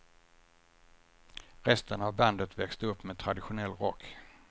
Resten av bandet växte upp med traditionell rock.